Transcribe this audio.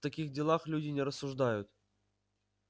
в таких делах люди не рассуждают